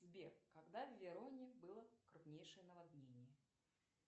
сбер когда в вероне было крупнейшее наводнение